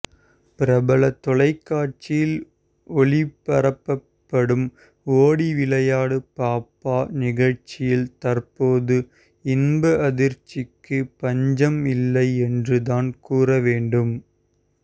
பிரபல தொலைக்காட்சியில் ஒளிப்பரப்பப்படும் ஓடி விளையாடு பாப்பா நிகழ்ச்சியில் தற்போது இன்ப அதிர்ச்சிக்கு பஞ்சம் இல்லை என்றுதான் கூறவேண்டும்